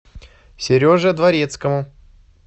сереже дворецкому